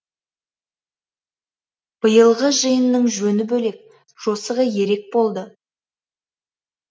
биылғы жиынның жөні бөлек жосығы ерек болды